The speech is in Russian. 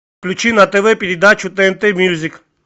включи на тв передачу тнт мьюзик